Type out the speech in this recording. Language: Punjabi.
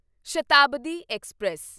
ਸ਼ਤਾਬਦੀ ਐਕਸਪ੍ਰੈਸ